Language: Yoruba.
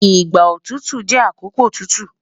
Igba otutu jẹ akoko tutu